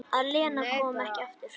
Að Lena komi ekki aftur.